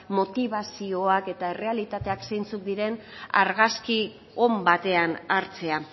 motibazioak eta errealitateak zeintzuk diren argazki on batean hartzea